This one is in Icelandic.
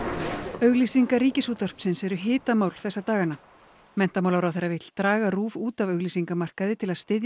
auglýsingar Ríkisútvarpsins eru hitamál þessa dagana menntamálaráðherra vill draga RÚV út af auglýsingamarkaði til að styðja